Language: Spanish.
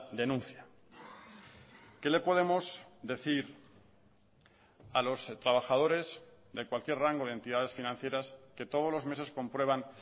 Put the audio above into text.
denuncia qué le podemos decir a los trabajadores de cualquier rango de entidades financieras que todos los meses comprueban